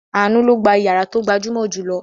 Àánú ló gba ìyàrá tó gbajúmọ̀ jù lọ.